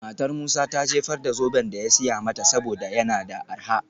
Matar Musa ta jefar da zoben da ya siya mata saboda yana da arha.